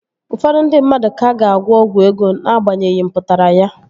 Ụfọdụ ndị mmadụ ka ga-agwọ ọgwụ ego Na-agbanyeghi mpụtara ya